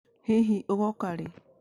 Hihi ũgooka rĩ ?